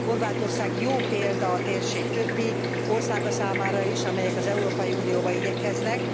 Horvátország jó példa a térség többi országa számára is, amelyek az Európai Unióba igyekeznek.